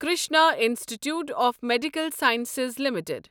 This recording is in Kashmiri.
Krishna institute of medical sciences limited